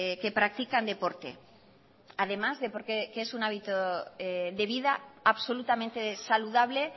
que practican deporte además de porque es un hábito de vida absolutamente saludable